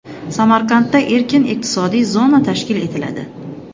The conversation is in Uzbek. Samarqandda erkin iqtisodiy zona tashkil etiladi.